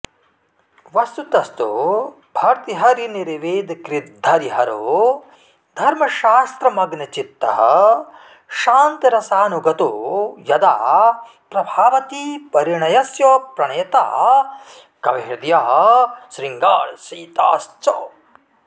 वस्तुतस्तु भर्तृहरिनिर्वेदकृद्धरिहरो धर्मशास्त्रमग्नचित्तः शान्तरसानुगतो यदा प्रभावतीपरिणयस्य प्रणेता कविहृदयः शृङ्गारचेताश्च